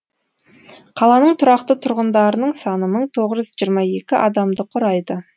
қаланың тұрақты тұрғындарының саны мың тоғыз жүз жиырма екі адамды құрайды